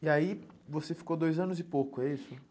E aí você ficou dois anos e pouco, é isso?